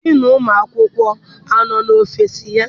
Diinu ụmụ akwụkwọ anọ n'ọfịịsi ya?.